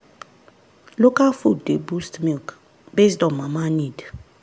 local food dey boost milk based on mama need.